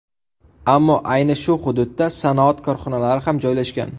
Ammo ayni shu hududda sanoat korxonalari ham joylashgan.